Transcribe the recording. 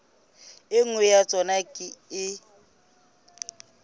e nngwe ya tsona e